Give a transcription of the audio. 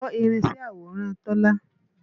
Ìṣọ̀lá fọ́ irinṣẹ́ àwòrán Tọ́lá.